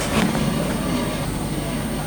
Enonyor oleng.